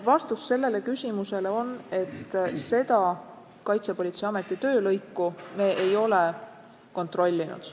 Vastus sellele küsimusele on, et seda Kaitsepolitseiameti töölõiku me ei ole kontrollinud.